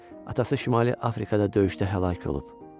Atası Şimali Afrikada döyüşdə həlak olub.